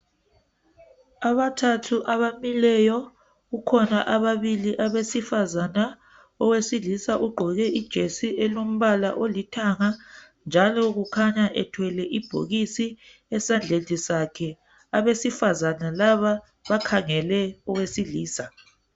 Abathathu abamileyo, kukhona ababili abesifazane. Owesilisa ugqoke ijesi elombala olithanga njalo kukhanya ethwele ibhokisi esandleni sakhe. Abesifazana laba bakhangele owesilisa.